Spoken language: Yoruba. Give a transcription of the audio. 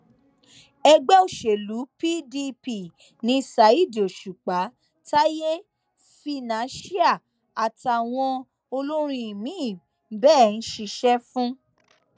ẹgbẹ òsèlú pdp ni ṣáídì òṣùpá táyé financial àtàwọn olórin míín bẹẹ ń ṣiṣẹ fún